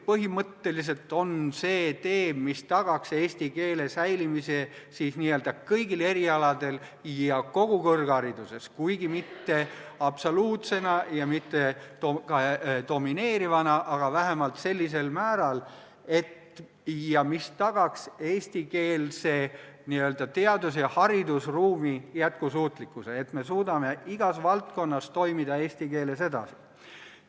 Põhimõtteliselt on olemas tee, mis tagaks eesti keele säilimise n-ö kõigil erialadel ja kogu kõrghariduses, kuigi mitte absoluutsena ja mitte ka domineerivana, aga vähemalt sellisel määral, mis tagaks eestikeelse n-ö teadus- ja haridusruumi jätkusuutlikkuse, selle, et me suudame igas valdkonnas eesti keeles edasi toimida.